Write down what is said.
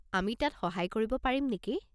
আমি তাত সহায় কৰিব পাৰিম নেকি?